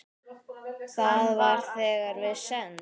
Það var þegar við send